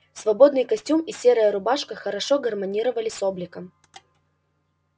свободный костюм и серая рубашка хорошо гармонировали с обликом